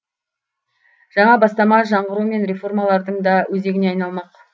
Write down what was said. жаңа бастама жаңғыру мен реформалардың да өзегіне айналмақ